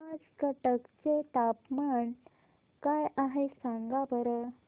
आज कटक चे तापमान काय आहे सांगा बरं